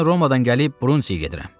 Mən Romadan gəlib Brundiziyə gedirəm.